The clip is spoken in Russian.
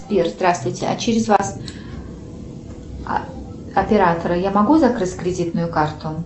сбер здравствуйте а через вас оператора я могу закрыть кредитную карту